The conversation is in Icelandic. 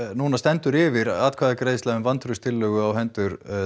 núna stendur yfir atkvæðagreiðsla um vantrauststillögu á hendur